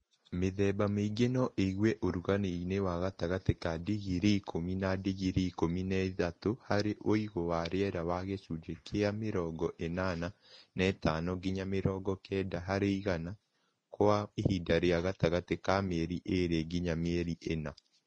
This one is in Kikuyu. Mĩthemba mĩingi no ĩigwo ũrugarĩini wa gatagatĩ ka digirii ikũmi na digirii ikũmi na ithatũ harĩ ũigũ wa rĩera wa gĩcunjĩ kĩa mĩrongo ĩnana na ithano nginya mĩrongo kenda harĩ igana kwa ihinda rĩa gatagatĩ ka mĩeri ĩĩrĩ nginya mĩeri ĩna